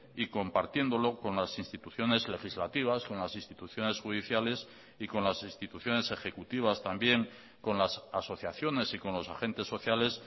y compartiéndolo con las instituciones legislativas con las instituciones judiciales y con las instituciones ejecutivas también con las asociaciones y con los agentes sociales